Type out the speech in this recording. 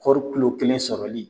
Kɔɔri kilo kelen sɔrɔli